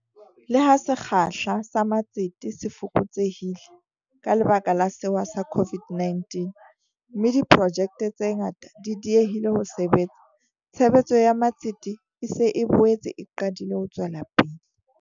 Le ha sekgahla sa matsete se fokotsehile ka lebaka la sewa sa COVID-19, mme diprojekte tse ngata di diehile ho sebetsa, tshebetso ya matsete e se e boetse e qadile ho tswela pele.